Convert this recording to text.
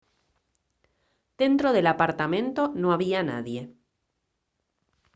dentro del apartamento no había nadie